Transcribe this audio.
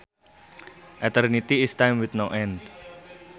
Eternity is time with no end